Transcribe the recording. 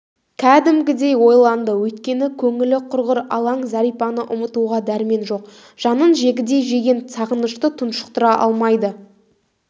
кәдімгідей ойланды өйткені көңілі құрғыр алаң зәрипаны ұмытуға дәрмен жоқ жанын жегідей жеген сағынышты тұншықтыра алмайды